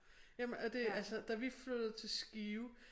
Jamen og det altså da vi flyttede til Skive